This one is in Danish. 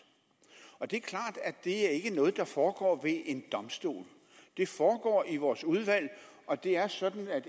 og det er klart at det ikke er noget der foregår ved en domstol det foregår i vores udvalg og det er sådan at